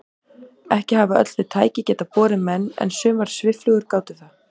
Ekki hafa öll þau tæki getað borið menn en sumar svifflugur gátu það.